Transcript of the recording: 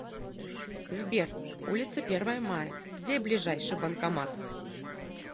сбер улица первое мая где ближайший банкомат